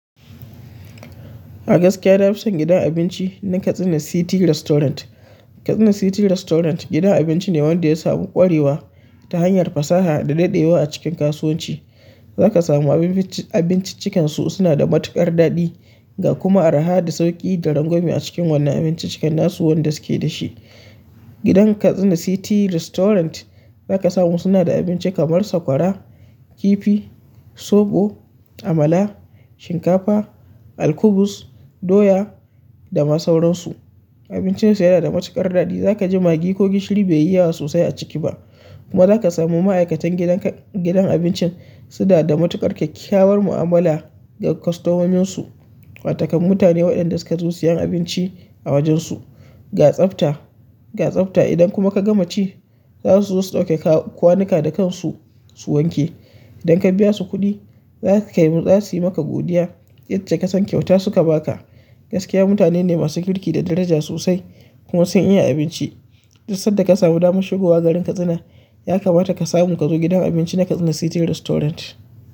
A gaskiya na fi son gidan abinci na Katsina City Restaurant. Katsina City Restaurant gidan abinci ne wanda ya samu ƙwarewa ta hanyar fasaha da daɗewa a cikin kasuwanci. Za ka samu abinciccikansu suna da matuƙar daɗi ga kuma arha da sauƙi da rangwame a cikin wannan abinciccikan nasu wanda suke da shi. Gidan Katsina City Restaurant za ka samu suna da abinci kamar sakwara, kifi, soɓo, amala, shinkafa, alkubus, doya da ma sauransu. Abincinsu yana da matuƙar daɗi. Za ka ji magi ko gishiri bai yi yawa sosai a ciki ba. Kuma za ka samu ma'aikatan gidan abincin suna da matuƙar kyakkyawar mu'amala ga kwastomominsu, wato kan mutane waɗanda suka zo siyan abinci a wajen su. Ga tsafta, ga tsafta idan kuma ka gama ci, za su zo su ɗauke kwanuka da kansu su wanke. Idan ka biya su kuɗi za su yi maka godiya, itace kasan kyauta suka ba ka. Gaskiya mutane ne masu kirki da daraja sosai kuma sun iya abinci. Duk sanda ka samu damar shigowa garin Katsina ya kamata ka samu ka zo gidan abinci na Katsina City Restaurant.